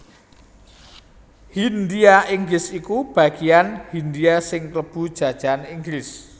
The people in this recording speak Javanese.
Hindhia Inggris iku bageyan Hindhia sing klebu jajahan Inggris